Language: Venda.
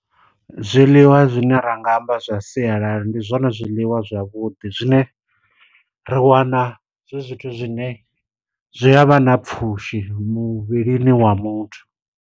Zwiḽiwa zwine ra nga amba zwa sialala, ndi zwone zwiḽiwa zwavhuḓi zwine, ri wana zwi zwithu zwine zwi a vha na pfushi muvhilini wa muthu.